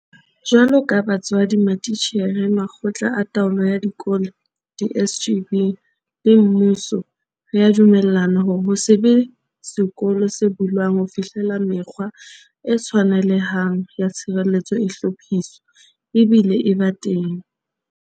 Jwaloka batswadi, matitjhere, makgotla a taolo ya dikolo, di-SGB, le mmuso, re a dumellana hore ho se be sekolo se bulwang ho fihlela mekgwa e tshwanelehang ya tshireletso e hlophiswa, ebile e ba teng.